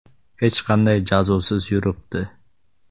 Hech qanday jazosiz yuribdi.